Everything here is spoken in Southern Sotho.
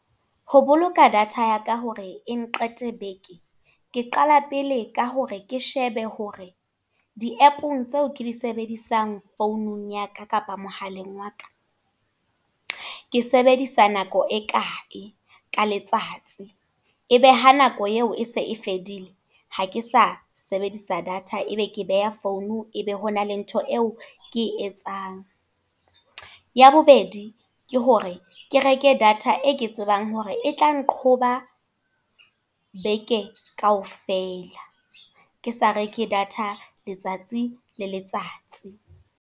Ho boloka data ya ka hore e nqete beke. Ke qala pele ka hore ke shebe hore, di app-ong tseo ke di sebedisang founung ya ka kapa, mohaleng wa ka. Ke sebedisa nako e kae, ka letsatsi. E be ha nako eo e se e fedile. Ha ke sa sebedisa data, ebe ke be a phone, e be hona le ntho eo ke e etsang. Ya bobedi, ke hore kereke data e ke tsebang hore e tla nqoba beke kaofela. Ke sa reke data letsatsi le letsatsi.